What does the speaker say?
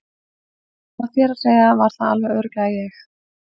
Svona þér að segja var það alveg örugglega ég